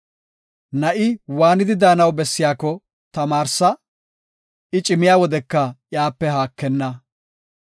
Na7i waanidi daanaw bessiyako tamaarsa; I cimiya wodeka iyape haakenna.